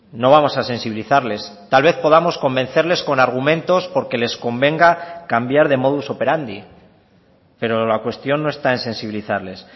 no vamos a sensibilizarles tal vez podamos convencerles con argumentos porque les convenga cambiar de modus operandi pero la cuestión no está en sensibilizarles